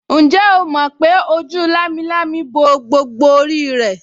Ǹjẹ́ o mọ̀ pé ojú lámilámi bo gbogbo orí rẹ̀